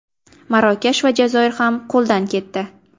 Marokash va Jazoir ham qo‘ldan ketdi.